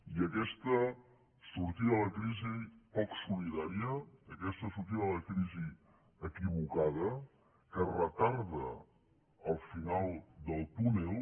i aquesta sortida de la crisi poc solidària aquesta sortida de la crisi equivocada que retarda el final del túnel